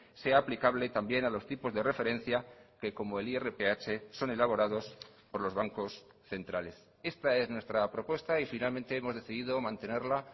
sea aplicable también a los tipos de referencia que como el irph son elaborados por los bancos centrales esta es nuestra propuesta y finalmente hemos decidido mantenerla